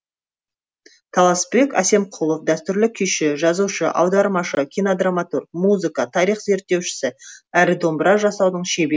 таласбек әсемқұлов дәстүрлі күйші жазушы аудармашы кинодраматург музыка тарих зерттеушісі әрі домбыра жасаудың шебер